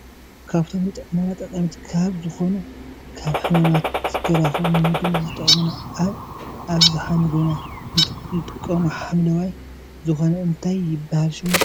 ካብቶም ንጥዕናና ጠቀምቲ ካብ ዝኮኑ ካብ ሕማማት ዝከላከሉ ንምግብነት ዝጠቅሙና ኣብ ኣብዛሓ ምግብና ንጥቀሞ ሓምለዋይ ዝኮነ እንታይ ይብሃል ሽሙ ?